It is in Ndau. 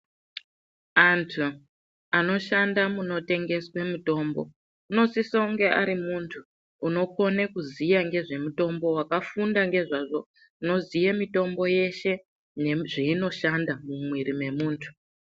Anthu anoshanda munotengeswe mutombo unosisa kunge ari munthu unokone kuziya ngezvemutombo wakafunda ngezvazvo unoziye mitombo yeshe nezveinoshanda mumwiri mwemunthu.